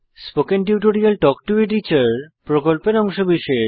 spoken tutorial talk to a teacher প্রকল্পের অংশবিশেষ